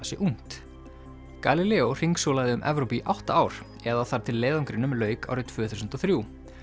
sé ung galileo hringsólaði um Evrópu í átta ár eða þar til leiðangrinum lauk árið tvö þúsund og þrjú